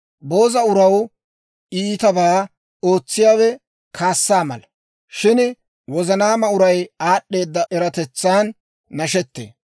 Booza uraw iitabaa ootsiyaawe kaassa mala; shin wozanaama uray aad'd'eeda eratetsan nashettee.